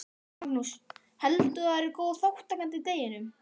Magnús: Heldur þú að það verði góð þátttaka í deginum?